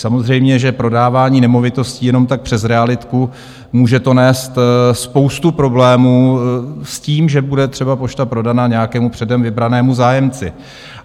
Samozřejmě, že prodávání nemovitostí jenom tak přes realitku, může to nést spoustu problémů s tím, že bude třeba pošta prodaná nějakému předem vybranému zájemci.